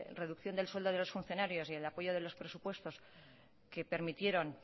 reducción del sueldo de los funcionarios y del apoyo de los presupuestos que permitieron